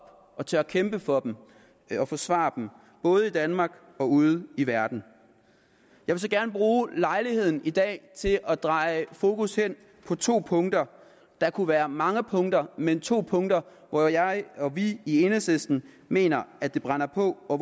og tør kæmpe for dem og forsvare dem både i danmark og ude i verden jeg vil gerne bruge lejligheden i dag til at dreje fokus hen på to punkter der kunne være mange punkter men to punkter hvor jeg og vi i enhedslisten mener at det brænder på og